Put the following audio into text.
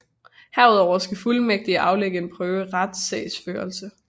Herudover skal fuldmægtigen aflægge en prøve i retssagsførelse